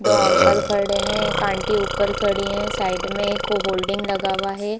दो अंकल खड़े हैं एक आंटी ऊपर खड़ी है साइड में एक होर्डिंग लगा हुआ है ।